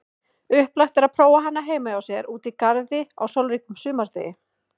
Upplagt er prófa hana heima hjá sér úti í garði á sólríkum sumardegi.